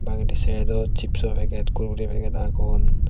bangedi saidot chipso peget korkori peget agon.